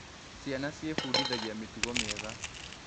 Ciana ciĩbundithagia mĩtugo mĩega.